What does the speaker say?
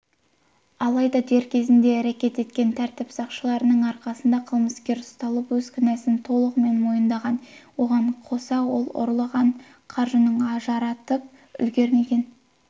алайда дер кезінде әрекет еткен тәртіп сақшыларының арқасында қылмыскер ұсталып өз кінәсін толығымен мойындаған оған қоса ол ұрланған қаржының жаратып үлгермеген